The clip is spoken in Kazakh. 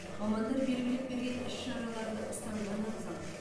мамандар белгілеп берген іс шараларды ұстанған абзал